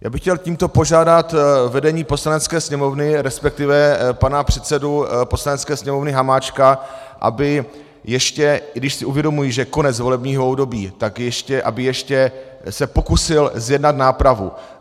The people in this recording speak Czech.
Já bych chtěl tímto požádat vedení Poslanecké sněmovny, respektive pana předsedu Poslanecké sněmovny Hamáčka, aby ještě, i když si uvědomuji, že je konec volebního období, tak aby ještě se pokusil zjednat nápravu.